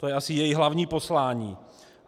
To je asi její hlavní poslání.